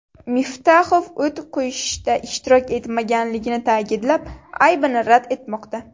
Miftaxov o‘t qo‘yishda ishtirok etmaganligini ta’kidlab, aybini rad etmoqda.